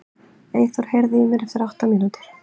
Eyþór, heyrðu í mér eftir átta mínútur.